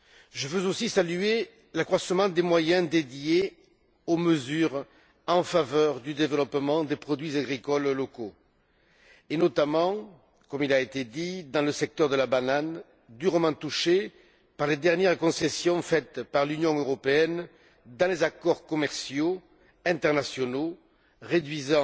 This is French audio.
Je veux aussi saluer l'accroissement des moyens affectés aux mesures en faveur du développement des produits agricoles locaux, notamment, comme cela a été dit, dans le secteur de la banane, durement touché par les dernières concessions faites par l'Union européenne dans les accords commerciaux internationaux, qui ont réduit